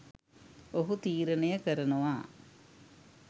ඔහු තීරණය කරනවා